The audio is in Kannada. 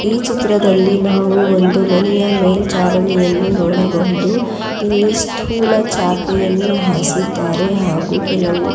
ಈ ಚಿತ್ರದಲ್ಲಿ ನಾವು ಒಂದು ಮನೆಯ ಮೇಲ್ಚಾವಣಿಯನ್ನು ನೋಡಬಹುದು ಇಲ್ಲಿ ಸ್ಥೂಲ ಚಾಪೆಯನ್ನು ಹಾಸಿದ್ದಾರೆ ಹಾಗೂ ಕೆಲವು--